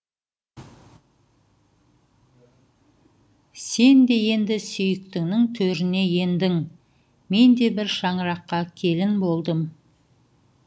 сен де енді сүйіктіңнің төріне ендің мен де бір шаңыраққа келін болдым